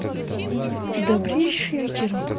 добрейшее